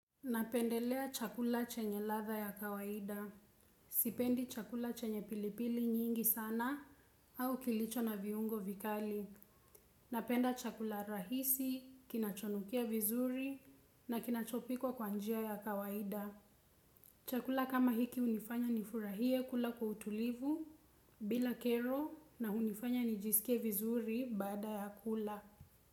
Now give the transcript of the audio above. Napendelea chakula chenye ladha ya kawaida. Sipendi chakula chenye pilipili nyingi sana au kilicho na viungo vikali. Napenda chakula rahisi, kinachonukia vizuri na kinachopikwa kwa njia ya kawaida. Chakula kama hiki hunifanya nifurahie kula kwa utulivu bila kero na hunifanya nijisikie vizuri baada ya kula.